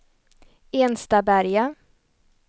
Enstaberga